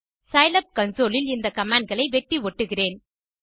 Scilab console இல் இந்த command களை வெட்டி ஒட்டுகிறேன்